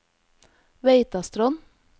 Veitastrond